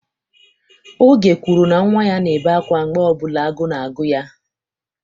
Oge kwuru na nwa ya na-ebe akwa mgbe ọ bụla agụụ na-agụ ya.